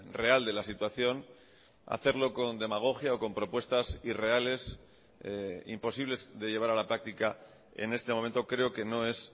real de la situación hacerlo con demagogia o con propuestas irreales imposibles de llevar a la práctica en este momento creo que no es